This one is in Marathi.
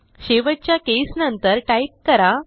शेवटच्या केस नंतर टाईप करा